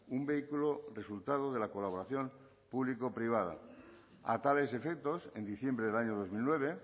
un vehículo resultado de la colaboración público privada a tales efectos en diciembre del año dos mil nueve